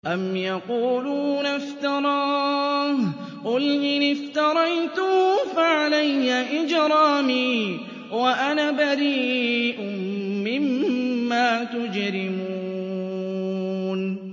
أَمْ يَقُولُونَ افْتَرَاهُ ۖ قُلْ إِنِ افْتَرَيْتُهُ فَعَلَيَّ إِجْرَامِي وَأَنَا بَرِيءٌ مِّمَّا تُجْرِمُونَ